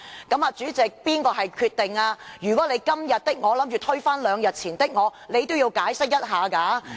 主席，這可是你所作的決定，如果你要"今天的我推翻兩天前的我"，也應作出解釋。